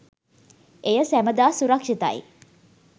එය සැමදා සුරක්ෂිතයි.